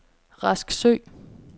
Rasksø